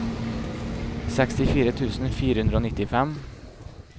sekstifire tusen fire hundre og nittifem